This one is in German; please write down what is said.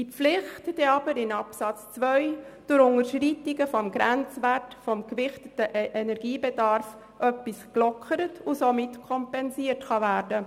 Diese Pflicht wird aber in Absatz 2 durch Unterschreitungen des Grenzwertes des gewichteten Energiebedarfs etwas gelockert und kann somit kompensiert werden.